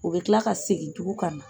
U bɛ kila ka segin tugun ka na.